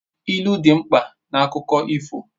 Ilu dị mkpa na akụkọ ifo